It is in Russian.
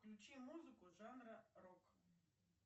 включи музыку жанра рок